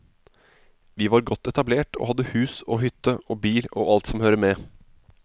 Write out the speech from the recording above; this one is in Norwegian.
Vi var godt etablert og hadde hus og hytte og bil og alt som hører med.